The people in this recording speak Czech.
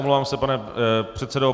Omlouvám se, pane předsedo.